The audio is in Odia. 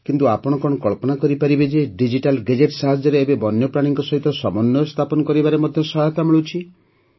କିନ୍ତୁ ଆପଣ କଣ କଳ୍ପନା କରିପାରିବେ ଯେ ଡିଜିଟାଲ୍ ଗେଜେଟ୍ ସାହାଯ୍ୟରେ ଏବେ ବନ୍ୟପ୍ରାଣୀଙ୍କ ସହିତ ସମନ୍ୱୟ ସ୍ଥାପନ କରିବାରେ ମଧ୍ୟ ସହାୟତା ମିଳୁଛି